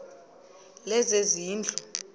lezezindlu